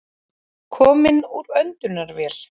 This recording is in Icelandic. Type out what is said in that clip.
Kominn úr öndunarvél